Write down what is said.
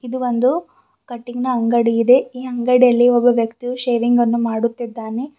ಇದು ಒಂದು ಕಟಿಂಗ್ ನ ಅಂಗಡಿ ಇದೆ ಈ ಅಂಗಡಿಯಲ್ಲಿ ಒಬ್ಬ ವ್ಯಕ್ತಿಯು ಶೇವಿಂಗ್ ಅನ್ನು ಮಾಡುತ್ತಿದ್ದಾನೆ.